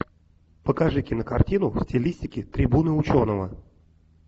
покажи кинокартину в стилистике трибуны ученого